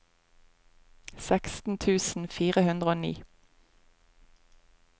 seksten tusen fire hundre og ni